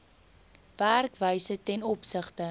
werkwyse ten opsigte